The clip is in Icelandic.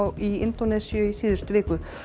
í Indónesíu í síðustu viku